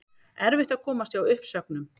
Erfitt að komast hjá uppsögnum